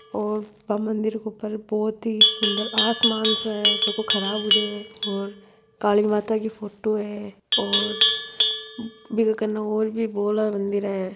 और बा मन्दिर के ऊपर बहुत ही सुंदर आसमान सो है झको खराब होरा है और काली माता की फोटो है और बि के कन और भी बोला मन्दिर है।